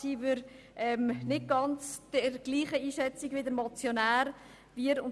Diesbezüglich teilen wir die Einschätzung des Motionärs nicht ganz.